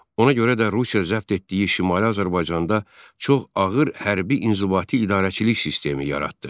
Ona görə də Rusiya zəbt etdiyi Şimali Azərbaycanda çox ağır hərbi inzibati idarəçilik sistemi yaratdı.